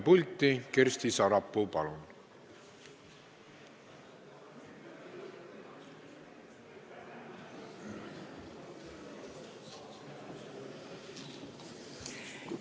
Palun Kersti Sarapuul tulla kõnepulti!